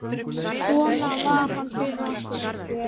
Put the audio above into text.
Svona var hann fyrir okkur.